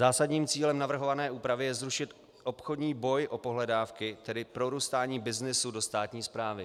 Zásadním cílem navrhované úpravy je zrušit obchodní boj o pohledávky, tedy prorůstání byznysu do státní správy.